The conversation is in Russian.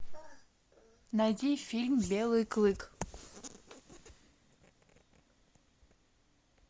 найди фильм белый клык